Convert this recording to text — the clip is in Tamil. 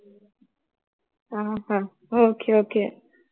ஆஹ் அஹ் okay okay